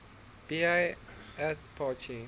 ba ath party